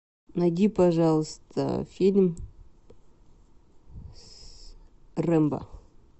найди пожалуйста фильм с рэмбо